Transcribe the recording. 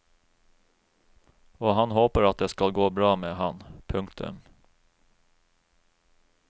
Og han håper at det skal gå bra med han. punktum